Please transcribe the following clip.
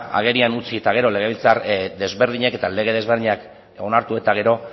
agerian utzi eta gero legebiltzar desberdinek eta lege desberdinak onartu eta gero